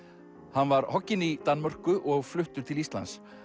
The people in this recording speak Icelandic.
hann var í Danmörku og fluttur til Íslands